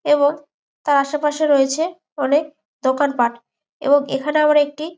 এবং তার আশেপাশে রয়েছে অনেক দোকান পাট এবং এখানে আমরা একটি।